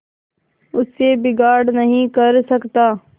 उससे बिगाड़ नहीं कर सकता